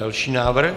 Další návrh.